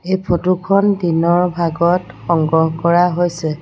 এই ফটো খন দিনৰ ভাগত সংগ্ৰহ কৰা হৈছে।